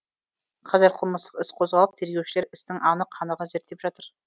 қазір қылмыстық іс қозғалып тергеушілер істің анық қанығын зерттеп жатыр